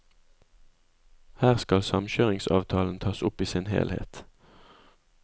Her skal samkjøringsavtalen tas opp i sin helhet.